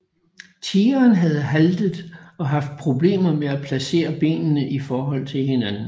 Tigeren havde haltet og haft problemer med at placere benene i forhold til hinanden